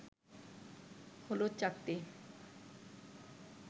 হলুদ চাকতি